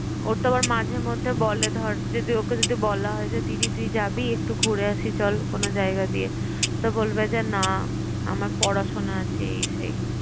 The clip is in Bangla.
ওর তো আবার মাঝেমধ্যে বলে ধর, যদি ওকে বলা হয় যে দিদি তুই যাবি একটু ঘুরে আসি চল কোন জায়গা দিয়ে? তো বলবে যে, না আমার পড়াশোনা আছে এই সেই।